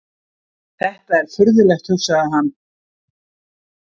Þetta er furðulegt, hugsaði hann.